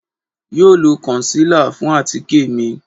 Yoo lo concealer fun atike mi